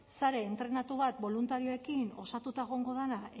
sare entrenatua bat boluntarioekin osatuta egongo dena